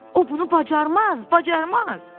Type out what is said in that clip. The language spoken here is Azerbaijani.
O bunu bacarmaz, bacarmaz!